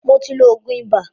Mó tí ló oògùn ibà.